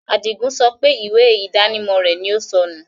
Adígun sọ pé ìwé ìdánimọ̀ rẹ̀ ni ó sọ́nù